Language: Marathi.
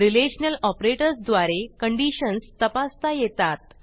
रिलेशनल ऑपरेटर्स द्वारे कंडिशन्स तपासता येतात